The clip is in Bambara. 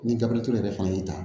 Ni gafe yɛrɛ fana y'i ta